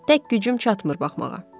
Tək gücüm çatmır baxmağa.